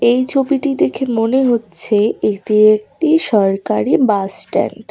এই ছবিটি দেখে মনে হচ্ছে এটি একটি সরকারি বাস স্ট্যান্ড ।